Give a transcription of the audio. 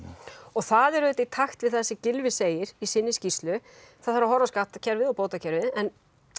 það er auðvitað í takt við það sem Gylfi segir í sinni skýrslu það þarf að horfa á skattkerfið og bótakerfið en